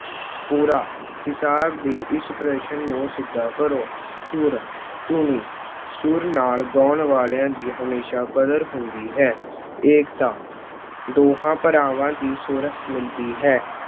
ਪੂਰਾ- ਹਿਸਾਬ ਦੇ ਇਸ ਪ੍ਰਸ਼ਨ ਨੂੰ ਸਿੱਧਾ ਕਰੋ। ਸੂਰ- ਧੁਨੀ- ਸੁਰ ਨਾਲ ਗਾਉਣ ਵਾਲਿਆਂ ਦੀ ਹਮੇਸ਼ਾ ਕਦਰ ਹੁੰਦੀ ਹੈ। ਏਕਤਾ- ਦੋਹਾਂ ਭਰਾਵਾਂ ਦੀ ਸੁਰ ਮਿਲਦੀ ਹੈ।